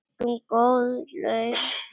Fengum góð laun.